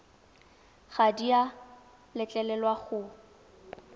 ga di a letlelelwa go